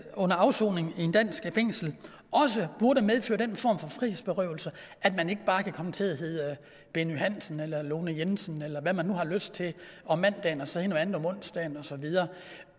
under afsoning i et dansk fængsel også burde medføre den form for frihedsberøvelse at man ikke bare kan komme til at hedde benny hansen eller lone jensen eller hvad man nu har lyst til om mandagen og så hedde noget andet om onsdagen osv